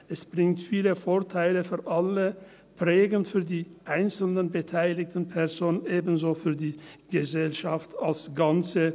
Es bringt viele Vorteile für alle, prägend für die einzeln beteiligten Personen, ebenso für die Gesellschaft als Ganzes.